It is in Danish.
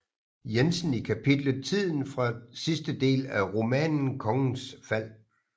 Jensen i kapitlet Tiden fra sidste del af romanen Kongens Fald